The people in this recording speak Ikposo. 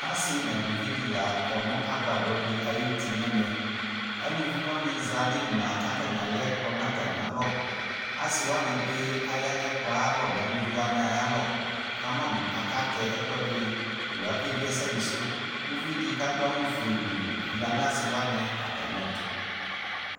Asɩ nʋ alʋvɩ dɩnɩ kɔnʋ agbadɔ ayʋ uti alʋvi wanɩ za nʋ ɩmla kʋ ɛkplɔ lɛnʋ atamialɔ asɩ wanɩbɩ zanʋ eluvi wanɩ atamɩ alɔ kʋ ɛkplɔ lɛnʋ atamialɔ kʋ alɛmʋ ake bie ɛsɛdɩ sʋ kʋ ʋlʋvɩdɩ kʋ adʋ awʋfue gblʋ yanʋ asɩ wanɩ atamɩɛtʋ